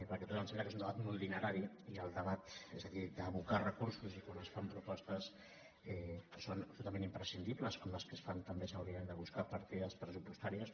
perquè tot ens sembla que és un debat molt dinerari i el debat és a dir d’abocar recursos i quan es fan propostes que són absolutament imprescindibles com les que es fan també s’haurien de buscar partides pressupostàries